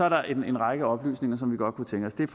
at der er en række oplysninger som vi godt kunne tænke os det